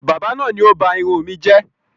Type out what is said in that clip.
Báábà náà ni ó ba irun mi jẹ́